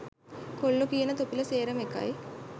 කොල්ලෝ කියන තොපිලා සේරම එකයි